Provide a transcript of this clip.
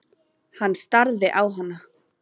Hann starði á hana.